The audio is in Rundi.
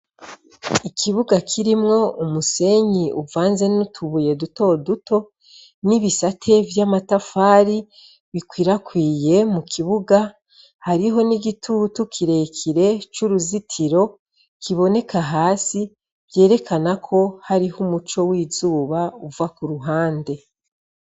Ikibuga kirimwo umusenyi uvanze n'utubuye duto duto, n'ibisate vy'amatafari bikwirakwiye mu kibuga, Hariho n'igitutu kirekire c'uruzitiro kiboneka hasi ,vyerekana ko hariho umuco w'izuba uva k'uruhande.